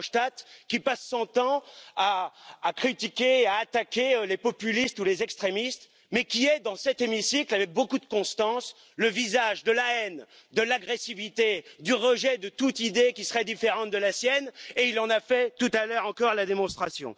Verhofstadt, qui passe son temps à critiquer et à attaquer les populistes ou les extrémistes, mais qui est dans cet hémicycle, avec beaucoup de constance, le visage de la haine, de l'agressivité, du rejet de toute idée qui serait différente de la sienne et il en a fait tout à l'heure encore la démonstration.